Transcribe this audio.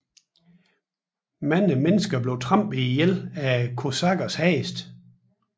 Mange mennesker blev trampet ihjel af kosakkernes heste